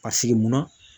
Ka sigi munna